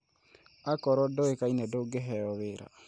Akorwo ndũikaine ndũngĩheo wĩra